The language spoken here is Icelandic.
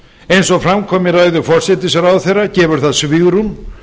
eins og fram kom í ræðu forsætisráðherra gefur það svigrúm